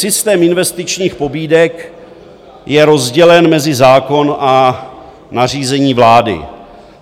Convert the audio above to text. Systém investičních pobídek je rozdělen mezi zákon a nařízení vlády.